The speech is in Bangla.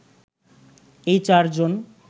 এই চার জন